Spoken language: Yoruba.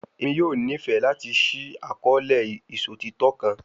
Emi yoo nifẹ lati ṣii akọọlẹ iṣotitọ kan